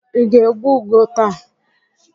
Ị ga-egbu ugo taa?